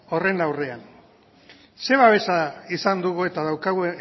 horren aurrean ze babesa izan dugu eta daukagu